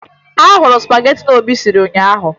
Ahụrụ m spagetị Obi siri ụnyaahụ